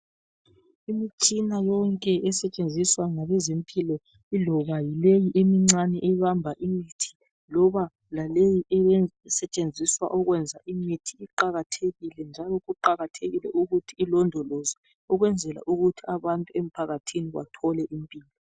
Imitshina yonke esetshenziswa ngebezempilo iloba yileyi emincane ebamba imithi laloba esetshenziswa ukwenza imithi iqakathekile njalo kuqakathekile ukuthi ilondolozwe ukwenzela ukuthi abantu emphakathini bathole uncedo.